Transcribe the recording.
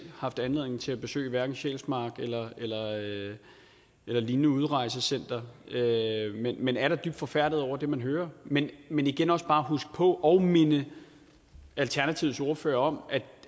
haft anledning til at besøge hverken sjælsmark eller et lignende udrejsecenter men man er da dybt forfærdet over det man hører men vil igen også bare huske på og minde alternativets ordfører om